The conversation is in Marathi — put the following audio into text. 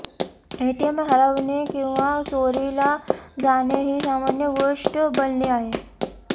एटीएम हरवणे किंवा चोरीला जाणे ही सामान्य गोष्ट बनली आहे